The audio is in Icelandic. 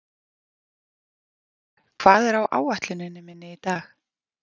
Ísbjörg, hvað er á áætluninni minni í dag?